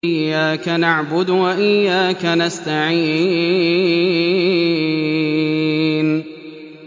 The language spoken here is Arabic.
إِيَّاكَ نَعْبُدُ وَإِيَّاكَ نَسْتَعِينُ